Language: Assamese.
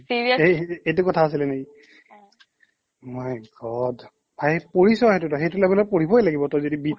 এই এইটো কথা আছিলে নেকি my god ভাই পঢ়িছ সেইটো পঢ়িছ সেইটো level ত পঢ়িবই লাগিব তই যদি beat